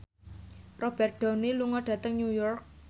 Robert Downey lunga dhateng New York